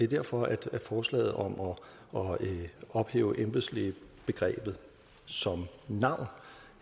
derfor er forslaget om at ophæve embedslægebegrebet som navn